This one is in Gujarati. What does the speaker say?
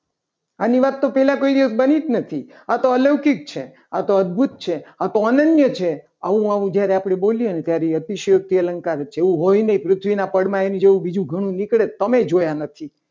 આની વાતો પહેલા કોઈ દિવસ બની જ નથી આ તો અલૌકિક છે. આ તો અદભુત છે. આ તો અનન્ય છે. આવું આવું જ્યારે આપણે બોલીએ ને ત્યારે ત્યારે અતિશયોક્તિ અલંકાર જ હોય એવું હોય નહીં. પૃથ્વીના પડમાં એના જેવું બીજું ઘણું નીકળે. તમે જોયા નથી.